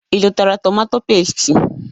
Ị zụtara tomatọ pẹ́stị?